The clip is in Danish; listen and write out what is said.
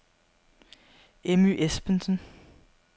Emmy Espensen